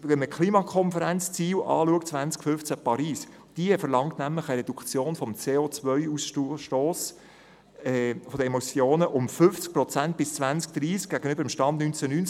Die Ziele der Klimakonferenz 2015 in Paris verlangen eine Reduktion des CO-Ausstosses um 50 Prozent bis 2030 gegenüber dem Stand 1990.